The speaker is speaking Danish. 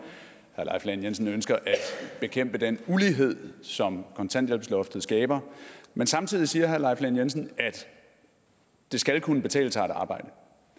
herre leif lahn jensen ønsker at bekæmpe den ulighed som kontanthjælpsloftet skaber men samtidig siger herre leif lahn jensen at det skal kunne betale sig at arbejde